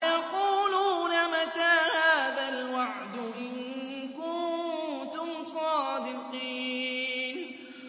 وَيَقُولُونَ مَتَىٰ هَٰذَا الْوَعْدُ إِن كُنتُمْ صَادِقِينَ